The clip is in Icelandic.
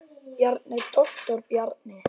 Bjarni, doktor Bjarni.